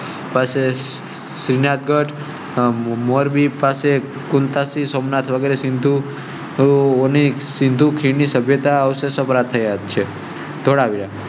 પાસે, શ્રીનાથ ગઢ, મોરબી પાસે, કુન તા. સોમનાથ વગેરે સિંધુ ને સિંધુ ખીણ ની સભ્યતા પ્રત્યક્ષ.